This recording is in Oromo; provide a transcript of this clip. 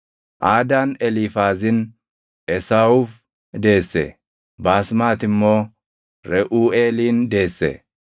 Aadaan Eliifaazin Esaawuuf deesse; Baasmati immoo Reʼuuʼeelin deesse.